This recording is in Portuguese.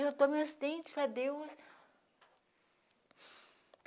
dentes para Deus.